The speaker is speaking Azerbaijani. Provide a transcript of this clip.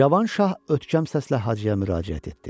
Cavan şah ötkəm səslə Hacıya müraciət etdi.